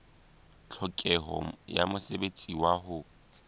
tlhokeho ya mosebetsi wa ho